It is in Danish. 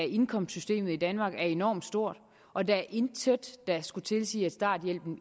indkomstsystemet i danmark enormt stor og der er intet der skulle tilsige at starthjælpen